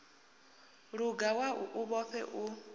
luga wau u woṱhe u